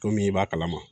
Komi i b'a kalama